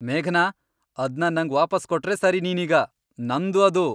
ಮೇಘನಾ, ಅದ್ನ ನಂಗ್ ವಾಪಸ್ ಕೊಟ್ರೇ ಸರಿ ನೀನೀಗ. ನಂದು ಅದು!